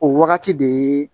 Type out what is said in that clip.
O wagati de ye